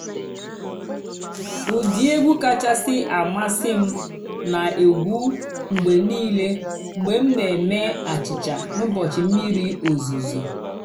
ụ́dị́ ègwú kàchàsị́ àmásị́ m nà-ègwú mg̀bé nìílé mg̀bé m nà-èmée àchị́cha n'ụ́bọ̀chị́ m̀mìrí ózùzó.